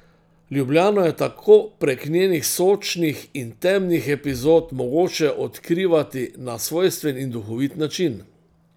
Ljubljano je tako prek njenih sočnih in temnih epizod mogoče odkrivati na svojstven in duhovit način.